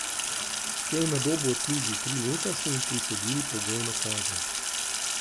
Ko je na Dobu odslužil tri leta, so mu prisodili pogojno kazen.